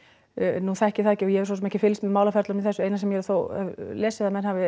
nú þekki ég það ekki og ég hef svo sem ekki fylgst með málaferlum í þessu eina sem ég þó hef lesið að menn hafi